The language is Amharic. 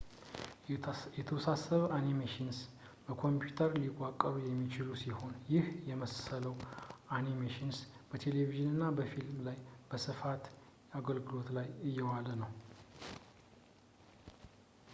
የተወሳሰበ animations በኮንፒውተርስ ሊዋቀሩ የሚችሉ ሲሆን ይህን የመሰለው animations በቴሌቭዥንና በፊልም ላይ በስፋት አገልግሎት ላይ እየዋለ ነው